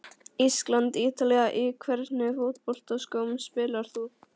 ísland- ítalía Í hvernig fótboltaskóm spilar þú?